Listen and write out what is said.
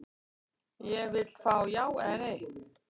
Ég vill fá já eða nei.